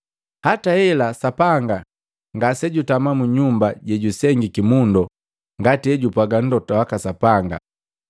“Hata hela Sapanga ngase jutama mu nyumba jejusengiti mundo, ngati hejupwaga Mlota waka Sapanga: